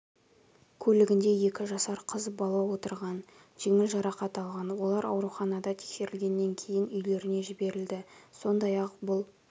көлігінде екі жасар қыз балаотырған жеңіл жарақат алған олар ауруханада тексерілгеннен кейін үйлеріне жіберілді сондай-ақ бұл